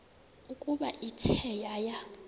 ukuba ithe yaya